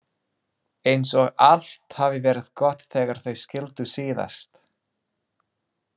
Eins og allt hafi verið gott þegar þau skildu síðast.